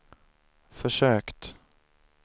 försökt